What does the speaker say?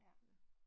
Ja